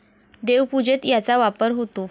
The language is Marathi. देवपूजेत याचा वापर होतो.